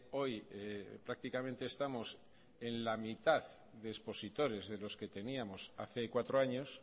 hoy prácticamente estamos en la mitad de expositores de los que teníamos hace cuatro años